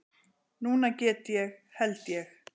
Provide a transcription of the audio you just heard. Núna get ég. held ég.